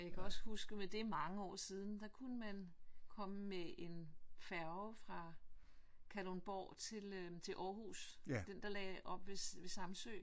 Og jeg kan også huske men det mange år siden der kunne man komme med en færge fra Kalundborg til til Århus den der lagde op ved Samsø